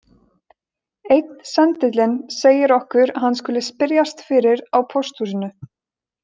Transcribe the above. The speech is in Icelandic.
Einn sendillinn segir okkur að hann skuli spyrjast fyrir á pósthúsinu